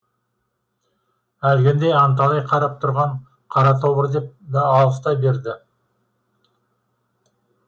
әлгінде анталай қарап тұрған қара тобыр деп алыстай берді